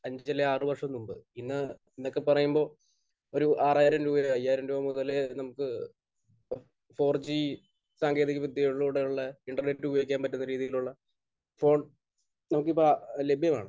അഞ്ച് അല്ലെങ്കിൽ ആറ് വർഷം മുൻപ്. ഇന്ന്...ഇന്നൊക്കെ പറയുമ്പോൾ ഒരു ആറായിരം രൂപയോ അയ്യായിരം രൂപ മുതൽ നമുക്ക് ഫോർ ജി സാങ്കേതികവിദ്യകളിലൂടെയുള്ള ഇന്റർനെറ്റ് ഉപയോക്കാൻ പറ്റുന്ന രീതിയിലുള്ള ഫോൺ നമുക്ക് ഇപ്പോൾ ലഭ്യമാണ്.